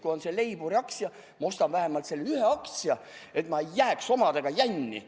Kui on see Leiburi aktsia, siis ma ostan vähemalt selle ühe aktsia, et ma ei jääks omadega jänni.